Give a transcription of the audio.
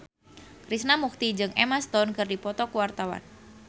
Krishna Mukti jeung Emma Stone keur dipoto ku wartawan